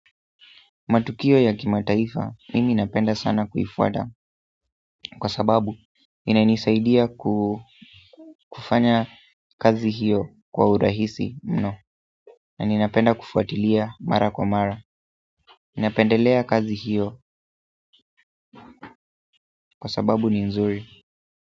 Matukio ya kimataifa, mimi napenda sana kuifwata kwa sababu inanisaidia kufanya kazi hiyo kwa urahisi mno na ninapenda kufuatilia mara kwa mara, ninapendelea kazi hiyo kwa sababu ni nzuri.